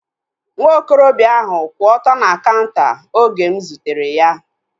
Nwa okorobịa ahu kwụ ọtọ na kaunta oge m zutere ya